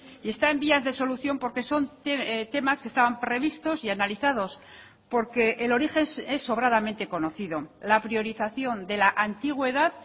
y está en vías de solución porque son temas que estaban previstos y analizados porque el origen es sobradamente conocido la priorización de la antigüedad